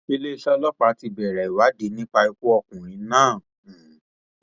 iléeṣẹ ọlọpàá ti bẹrẹ ìwádìí nípa ikú ọkùnrin náà um